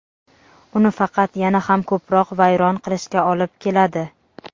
uni faqat yana ham ko‘proq vayron qilishga olib keladi.